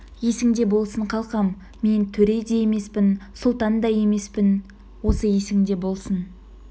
есіңде болсын қалқам мен төре де емеспін сұлтан да емеспін осы есіңде болсын